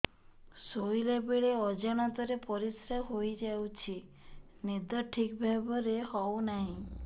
ଶୋଇଲା ବେଳେ ଅଜାଣତରେ ପରିସ୍ରା ହୋଇଯାଉଛି ନିଦ ଠିକ ଭାବରେ ହେଉ ନାହିଁ